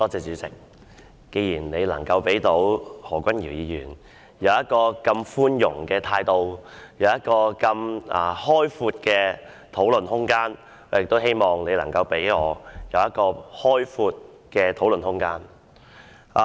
主席，既然你能如此寬待何君堯議員，並給予他如此開闊的討論空間，我希望你也能給予我開闊的討論空間。